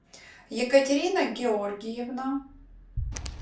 екатерина георгиевна